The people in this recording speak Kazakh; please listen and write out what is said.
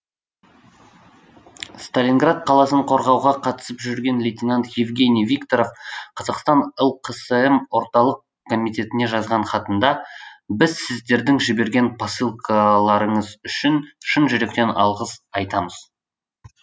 сталинград қаласын қорғауға қатысып жүрген лейтенант евгений викторов қазақстан лқсм орталық комитетіне жазған хатында біз сіздердің жіберген посылкаларыңыз үшін шын жүректен алғыс айтамыз